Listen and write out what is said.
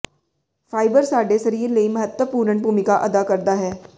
fibre ਸਾਡੇ ਸਰੀਰ ਲਈ ਮਹੱਤਵਪੂਰਣ ਭੂਮਿਕਾ ਅਦਾ ਕਰਦਾ ਹੈ